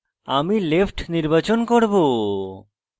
আমি left নির্বাচন করব